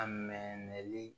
A mɛnli